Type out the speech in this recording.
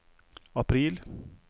april